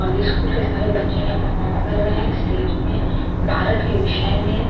और यह स्कूल के सारे बच्चे हैं परफार्म कर रहे हैं स्टेज में भारत के विषय में।